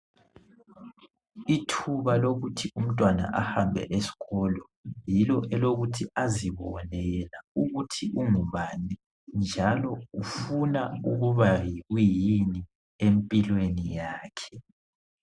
Ithuba lokuthi umntwana ahambe esikolo, yilo elokuthi azibone yena ukuthi ungubani njalo ufuna ukuba yikuyini empilweni yakhe.